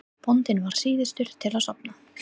Bóndinn varð síðastur til að sofna.